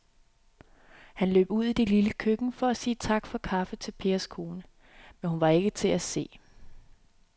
Han løb ud i det lille køkken for at sige tak for kaffe til Pers kone, men hun var ikke til at se.